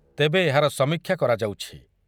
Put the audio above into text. ତେବେ ଏହାର ସମୀକ୍ଷା କରାଯାଉଛି ।